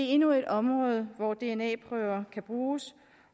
endnu et område hvor dna prøver kan bruges